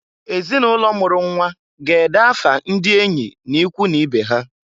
Ezinụlọ mụrụ nnwa ga-ede afa ndị enyị n'ikwu n'ibe ha.